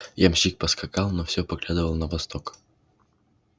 ямщик поскакал но всё поглядывал на восток